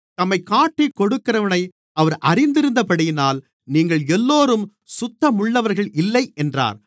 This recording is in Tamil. தம்மைக் காட்டிக் கொடுக்கிறவனை அவர் அறிந்திருந்தபடியினால் நீங்கள் எல்லோரும் சுத்தமுள்ளவர்கள் இல்லை என்றார்